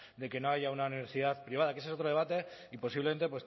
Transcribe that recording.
de que no haya una universidad privada que ese es otro debate y posiblemente